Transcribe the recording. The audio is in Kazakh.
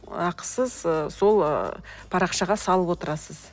ақысыз ы сол ы парақшаға салып отырасыз